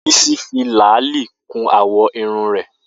Bisi fi làálí kún àwọ̀ irun rẹ̀